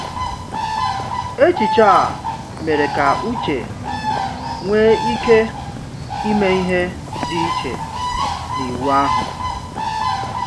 Echiche a mere ka Uche nwee ike ime ihe dị iche na iwu ahụ.